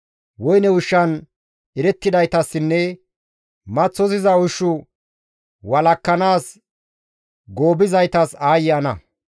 Woyne ushshan erettidaytassinne maththosiza ushshu walakkanaas goobizaytas aayye ana!